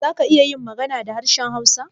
Za ka iya yin magana da harshen hausa?